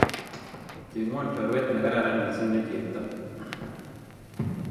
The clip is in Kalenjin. Cheng'won choruet ne kararan msiing' ne chepto